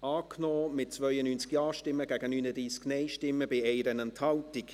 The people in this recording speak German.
angenommen, mit 92 Ja- gegen 39 Nein-Stimmen bei 1 Enthaltung.